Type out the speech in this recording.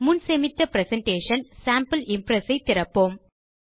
முன் சேமித்த presentation sample Impress ஐ திறப்போம்